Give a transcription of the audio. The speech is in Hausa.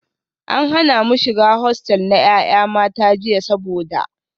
An hana mu shiga hostel na 'yan mata jiya saboda